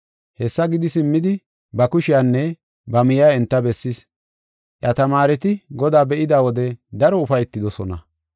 Hessa gidi simmidi ba kushiyanne ba miya enta bessis. Iya tamaareti Godaa be7ida wode daro ufaytidosona.